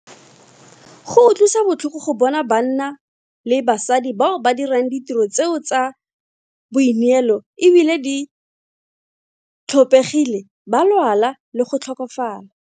Go utlwisa botlhoko go bona banna le basadi bao ba dirang ditiro tse tsa boineelo e bile di tlhophegile ba lwala le go tlhokafala.